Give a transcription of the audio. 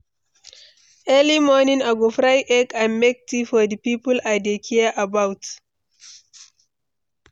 Early morning, I go fry egg and make tea for di people I dey care about.